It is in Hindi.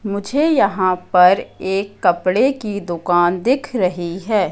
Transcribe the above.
मुझे यहां पर एक कपड़े की दुकान दिख रही है।